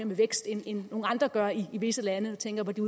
med vækst end andre gør i visse lande jeg tænker på de